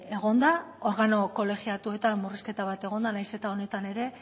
egon da organo kolegiatuetan murrizketa bat egon da nahiz eta honetan ere